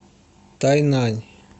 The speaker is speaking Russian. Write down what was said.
тайнань